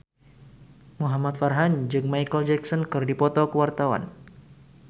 Muhamad Farhan jeung Micheal Jackson keur dipoto ku wartawan